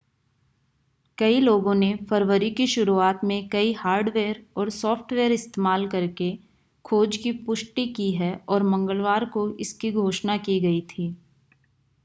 कई लोगों ने फरवरी की शुरुआत में कई हार्डवेयर और सॉफ़्टवेयर इस्तेमाल करके खोज की पुष्टि की है और मंगलवार को इसकी घोषणा की गई थी